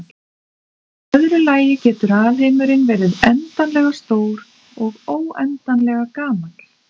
Í öðru lagi getur alheimurinn verið endanlega stór og óendanlega gamall.